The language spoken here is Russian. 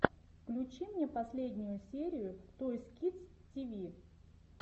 включи мне последнюю серию тойс кидс ти ви